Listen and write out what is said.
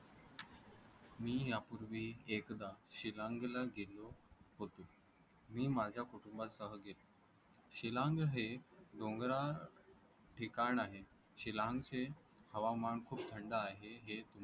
मी यापूर्वी एकदा शिलाँग ला गेलो होतो. मी माझ्या कुटुंबासह गेलो. शिलाँग हे डोंगराळ ठिकाण आहे. शिलाँग चे हवामान खूप थंड आहे हे